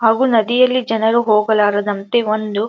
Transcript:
ಹಾಗೆ ನದಿಗಳಲ್ಲಿ ಜನರು ಹೋಗಲಾರ ದಂತೆ ಒಂದು --